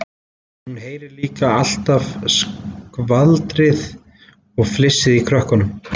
Hún heyrir líka alltaf skvaldrið og flissið í krökkunum.